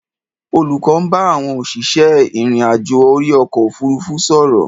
Olùkọ́ ń bá àwọn òṣìṣẹ́ ìrìn-àjò orí ọkọ̀ òfuurufú sọ̀rọ̀.